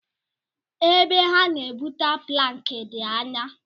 E be ha na-ebute plankị dị anyá.